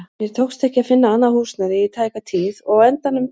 Mér tókst ekki að finna annað húsnæði í tæka tíð og á endanum talaði